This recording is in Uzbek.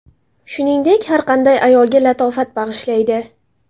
Shuningdek, har qanday ayolga latofat bag‘ishlaydi.